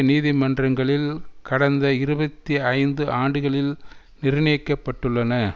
நீதிமன்றங்களில் கடந்த இருபத்தி ஐந்து ஆண்டுகளில் நிர்ணயிக்கப் பட்டுள்ளன